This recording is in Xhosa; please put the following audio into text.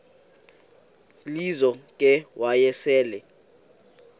lizo ke wayesel